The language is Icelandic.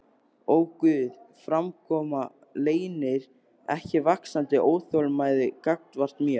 Öguð framkoma leynir ekki vaxandi óþolinmæði gagnvart mér.